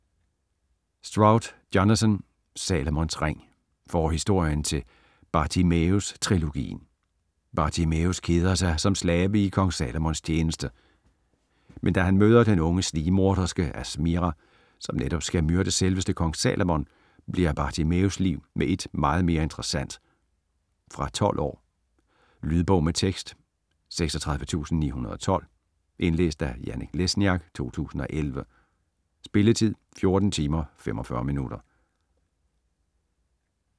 Stroud, Jonathan: Salomons ring Forhistorien til "Bartimæus-trilogien". Bartimæus keder sig som slave i Kong Salomons tjeneste, men da han møder den unge snigmorderske Asmira, som netop skal myrde selveste Kong Salomon, bliver Bartimæus' liv med ét meget mere interessant. Fra 12 år. Lydbog med tekst 36912 Indlæst af Janek Lesniak, 2011. Spilletid: 14 timer, 45 minutter.